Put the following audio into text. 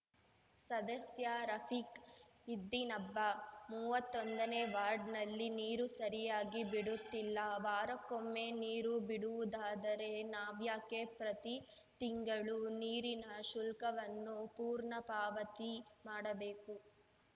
ಸದಸ್ಯ ರಫೀಕ್‌ ಇದ್ದಿನಬ್ಬ ಮೂವತ್ತೊಂದನೇ ವಾರ್ಡ್‌ನಲ್ಲಿ ನೀರು ಸರಿಯಾಗಿ ಬಿಡುತ್ತಿಲ್ಲ ವಾರಕ್ಕೊಮ್ಮೆ ನೀರು ಬಿಡುವುದಾದರೆ ನಾವ್ಯಾಕೆ ಪ್ರತಿ ತಿಂಗಳು ನೀರಿನ ಶುಲ್ಕವನ್ನು ಪೂರ್ಣ ಪಾವತಿ ಮಾಡಬೇಕು